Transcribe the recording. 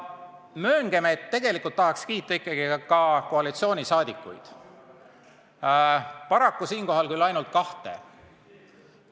Ja tegelikult tahan ma koalitsioonisaadikuid ka kiita, paraku küll ainult kahte.